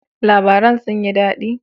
Labaran sun yi daɗi?